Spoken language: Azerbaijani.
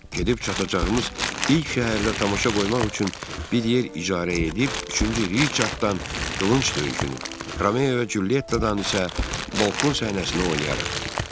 Gedib çatacağımız ilk şəhərdə tamaşa qoymaq üçün bir yer icarə edib, üçüncü Riçarddan qılınc döyüşünü, Romeo və Culyettadan isə balkon səhnəsini oynayarıq.